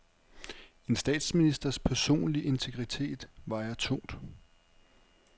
En statsministers personlige integritet vejer tungt.